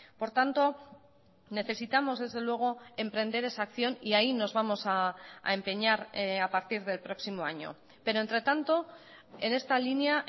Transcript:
por tanto necesitamos desde luego emprender esa acción y ahí nos vamos a empeñar a partir del próximo año pero entre tanto en esta línea